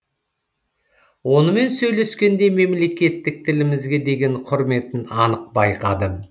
онымен сөйлескенде мемлекеттік тілімізге деген құрметін анық байқадым